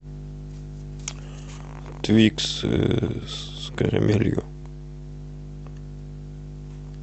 твикс с карамелью